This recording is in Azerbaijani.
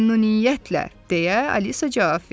Məmnuniyyətlə, deyə Alisa cavab verdi.